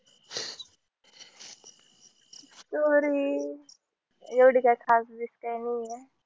story एवढी काय खास बीस काई नाहीये.